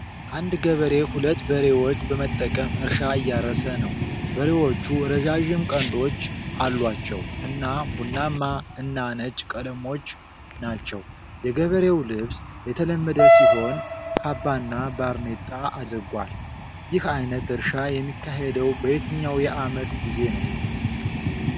አንድ ገበሬ ሁለት በሬዎች በመጠቀም እርሻ እያረሰ ነው። በሬዎቹ ረዣዥም ቀንዶች አሏቸው እና ቡናማ እና ነጭ ቀለሞች ናቸው። የገበሬው ልብስ የተለመደ ሲሆን ካባና ባርኔጣ አድርጓል። ይህ ዓይነት እርሻ የሚካሄደው በየትኛው የዓመት ጊዜ ነው?